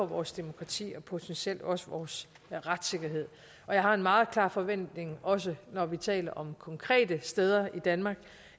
vores demokrati og potentielt også vores retssikkerhed og jeg har en meget klar forventning om også når vi taler om konkrete steder i danmark